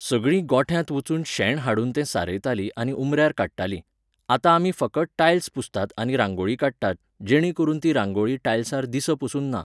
सगळीं गोठ्यांत वचून शेण हाडून तें सारयतालीं आनी उमऱ्यार काडटालीं. आतां आमी फकत टायल्स पुसतात आनी रांगोळी काडटात, जेणें करून ती रांगोळी टायल्सार दीस पसून ना.